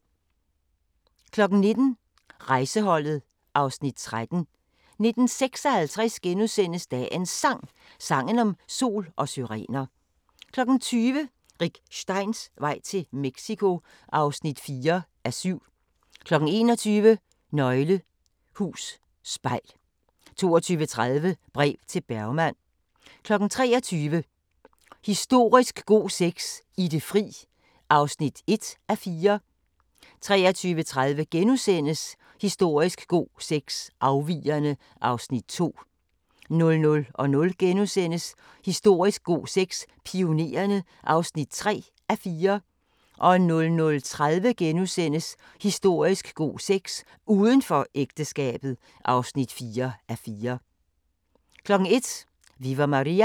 19:00: Rejseholdet (Afs. 13) 19:56: Dagens Sang: Sangen om sol og syrener * 20:00: Rick Steins vej til Mexico (4:7) 21:00: Nøgle Hus Spejl 22:30: Brev til Bergman 23:00: Historisk god sex – I det fri (1:4) 23:30: Historisk god sex – Afvigerne (2:4)* 00:00: Historisk god sex – Pionererne (3:4)* 00:30: Historisk god sex – Udenfor ægteskabet (4:4)* 01:00: Viva Maria!